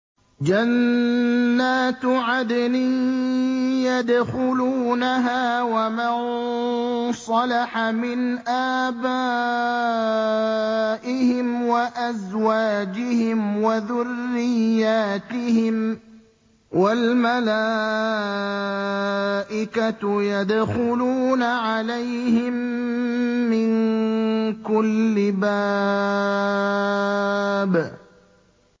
جَنَّاتُ عَدْنٍ يَدْخُلُونَهَا وَمَن صَلَحَ مِنْ آبَائِهِمْ وَأَزْوَاجِهِمْ وَذُرِّيَّاتِهِمْ ۖ وَالْمَلَائِكَةُ يَدْخُلُونَ عَلَيْهِم مِّن كُلِّ بَابٍ